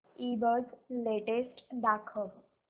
ईबझ लेटेस्ट दाखव